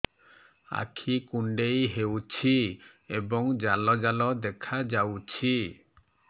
ଆଖି କୁଣ୍ଡେଇ ହେଉଛି ଏବଂ ଜାଲ ଜାଲ ଦେଖାଯାଉଛି